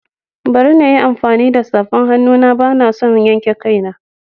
Bari na yi amfani da safar hannu na, ba na son yanke kaina.